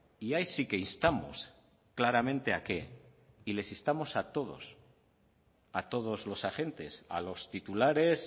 y ahí sí que instamos claramente a que y les instamos a todos a todos los agentes a los titulares